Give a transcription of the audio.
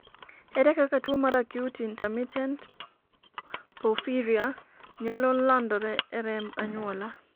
ere kaka tuo mar acute intermittent porphyria nyalo landore e remb anyuola ?